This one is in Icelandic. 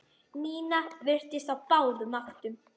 Nína virtist á báðum áttum.